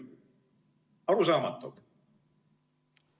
Arusaamatu!